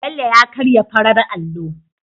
Bello ya karya farar allo